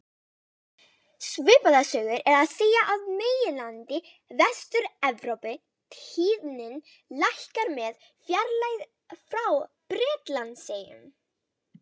Svipaða sögu er að segja af meginlandi Vestur-Evrópu, tíðnin lækkar með fjarlægð frá Bretlandseyjum.